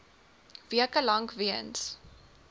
weke lank weens